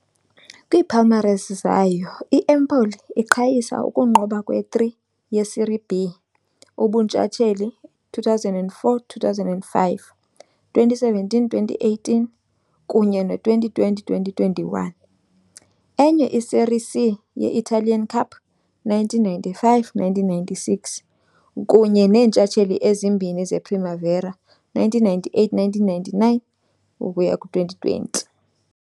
Kwiipalmares zayo, i-Empoli iqhayisa ukunqoba kwe-3 ye-Serie B ubuntshatsheli, 2004-2005, 2017-2018 kunye ne-2020-2021, enye i-Serie C ye-Italian Cup, 1995-1996, kunye neentshatsheli ezimbini ze-Primavera, 1998-99 ukuya ku-2020.